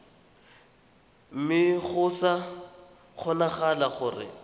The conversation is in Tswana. mme go sa kgonagale gore